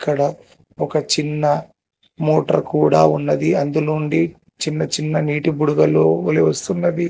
అక్కడ ఒక చిన్న మోటర్ కూడా ఉన్నది అందులో నుండి చిన్నచిన్న నీటి బుడగలు వలే వస్తున్నది.